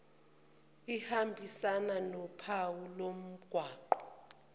ehambisana nophawu lomgwaqo